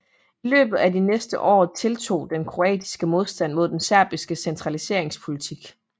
I løbet af de næste år tiltog den kroatiske modstand mod den serbiske centraliseringspolitik